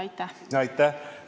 Aitäh!